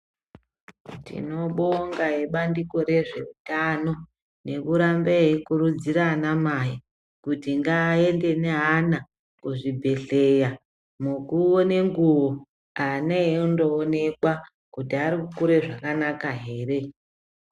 Tinobonga nebandiko rezvehutano nekuramba eikurudzira ana mai kuti ngarambe eienda neana kuzvibhedhlera munguwo nenguwo ana eindoonekwa Kuti arikukura zvakanaka here.